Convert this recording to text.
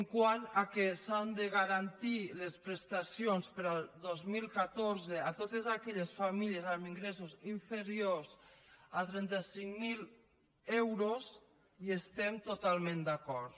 quant que s’han de garantir les prestacions per al dos mil catorze a totes aquelles famílies amb ingressos inferiors a trenta cinc mil euros hi estem totalment d’acord